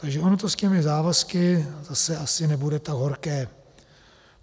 Takže ono to s těmi závazky zase asi nebude tak horké.